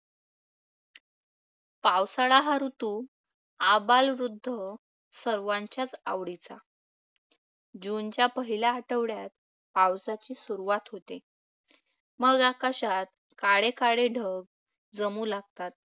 पावसाळा हा ऋतू आबालवृद्ध या सर्वांच्याच आवडीचा. जूनच्या पहिल्या आठवड्यात पावसाची सुरुवात होते. मग आकाशात काळे काळे ढग जमू लागतात.